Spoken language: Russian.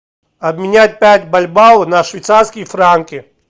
обменять пять бальбоа на швейцарские франки